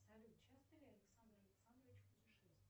салют часто ли александр александрович путешествует